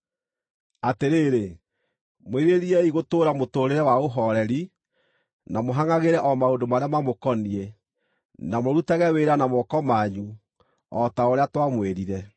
Atĩrĩrĩ, mwĩrirĩriei gũtũũra mũtũũrĩre wa ũhooreri, na mũhangʼagĩre o maũndũ marĩa mamũkoniĩ, na mũrutage wĩra na moko manyu, o ta ũrĩa twamwĩrire,